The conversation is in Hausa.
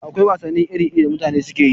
Akwai wasanni iri-iri da mutane suke yi.